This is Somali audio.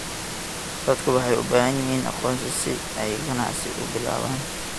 Dadku waxay u baahan yihiin aqoonsi si ay ganacsi u bilaabaan.